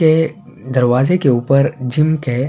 یہ دروازے کے اپر جم کے --